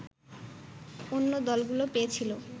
অন্য দলগুলো পেয়েছিল